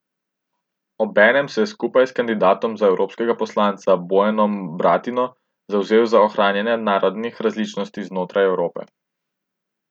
Obenem se je skupaj s kandidatom za evropskega poslanca Bojanom Bratino zavzel za ohranjanje narodnih različnosti znotraj Evrope.